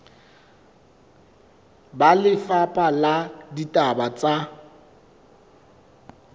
ba lefapha la ditaba tsa